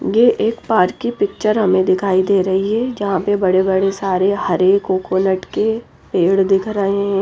ये एक पार्क की पिक्चर हमें दिखाई दे रही है जहां पे बड़े बड़े सारे हरे कोकोनट के पेड़ दिख रहे हैं।